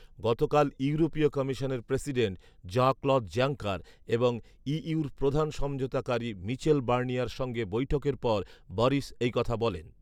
গতকাল ইউরোপীয় কমিশনের প্রেসিডেন্ট জ্যঁ ক্লদ জাঙ্কার এবং ইইউ’র প্রধান সমঝোতাকারী মিচেল বার্নিয়ার সঙ্গে বৈঠকের পর বরিস এই কথা বলেন